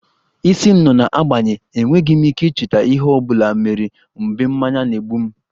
Isi m nọ na-agbanye, enweghị m ike icheta ihe ọ bụla mere mgbe mmanya na-egbu m